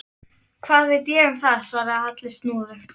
Hvað veit ég um það? svaraði Halli snúðugt.